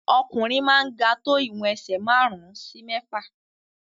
Ọkùnrin máa ń ga tó ìwọ̀n ẹsẹ̀ márùn-ún sí mẹ́fà.